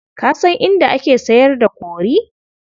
Ka san inda ake sayar da kori?